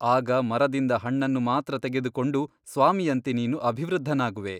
ಆಗ ಮರದಿಂದ ಹಣ್ಣನ್ನು ಮಾತ್ರ ತೆಗೆದುಕೊಂಡು ಸ್ವಾಮಿಯಂತೆ ನೀನು ಅಭಿವೃದ್ಧನಾಗುವೆ.